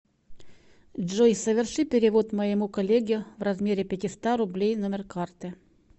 джой соверши перевод моему коллеге в размере пятиста рублей номер карты